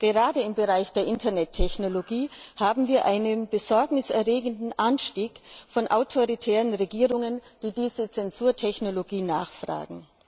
Gerade im Bereich der Internettechnologie haben wir einen besorgniserregenden Anstieg von autoritären Regierungen, die diese Zensurtechnologie nachfragen.